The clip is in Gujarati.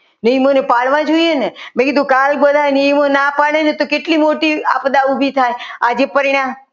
નિયમોને પાડવા જોઈએ ને મેં કીધું કાલ બધા નિયમો ના પાડે ને તો કેટલી મોટી આપદા ઊભી થાય આજે પરણ્યા.